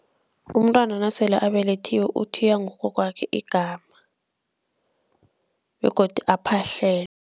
Umntwana nasele abelethiwe uthiywa ngugogwakhe igama begodu aphahlelwe.